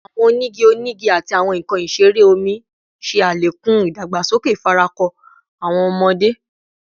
Awọn onigi onigi ati awọn nkan isere omi ṣe alekun idagbasoke ifarako awọn ọmọde